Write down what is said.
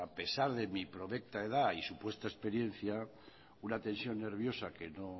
pesar de mi prolecita edad y supuesta experiencia una tensión nerviosa que